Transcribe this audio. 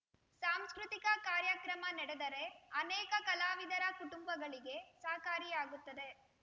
ಸಾಂಸ್ಕೃತಿಕ ಕಾರ್ಯಕ್ರಮ ನಡೆದರೆ ಅನೇಕ ಕಲಾವಿದರ ಕುಟುಂಬಳಿಗೆ ಸಹಕಾರಿಯಾಗುತ್ತದೆ